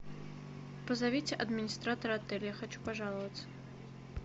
позовите администратора отеля я хочу пожаловаться